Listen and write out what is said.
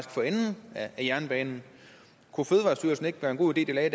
for enden af jernbanen kunne det ikke være en god idé at